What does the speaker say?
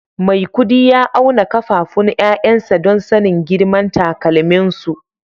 Maikudi ya auna kafafun 'ya'yansa don sanin girman takalminsu